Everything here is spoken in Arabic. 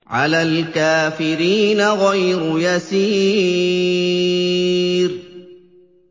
عَلَى الْكَافِرِينَ غَيْرُ يَسِيرٍ